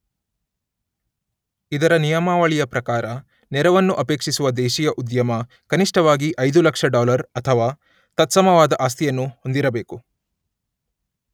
ಇದರ ನಿಯಮಾವಳಿಯ ಪ್ರಕಾರ ನೆರವನ್ನು ಅಪೇಕ್ಷಿಸುವ ದೇಶೀಯ ಉದ್ಯಮ ಕನಿಷ್ಠವಾಗಿ ಐದು ಲಕ್ಷ ಡಾಲರ್ ಅಥವಾ ತತ್ಸಮವಾದ ಆಸ್ತಿಯನ್ನು ಹೊಂದಿರಬೇಕು.